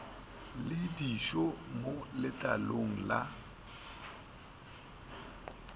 le dišo mo letlalong la